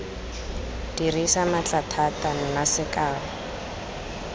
dirisa maatla thata nna sekao